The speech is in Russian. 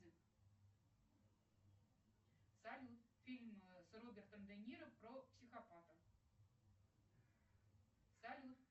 салют фильм с робертом де ниро про психопата салют